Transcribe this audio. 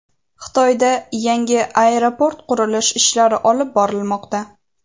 Xitoyda yangi aeroport qurilish ishlari olib borilmoqda.